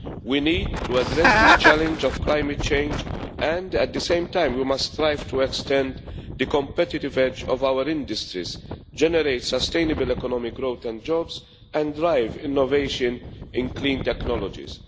We need to address this challenge of climate change and at the same time, we must strive to extend the competitive edge of our industries, generate sustainable economic growth and jobs, and drive innovation in clean technologies.